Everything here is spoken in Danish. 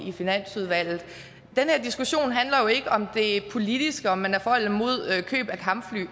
i finansudvalget den her diskussion handler jo ikke om det politiske om man er for eller imod køb af kampfly